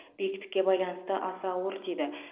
биіктікке байланысты аса ауыр тиді